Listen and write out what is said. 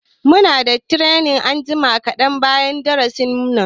Muna da training anjima kaɗan bayan darasin nan.